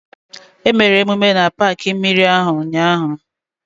Emere emume na paakị mmiri ahụ ụnyaahụ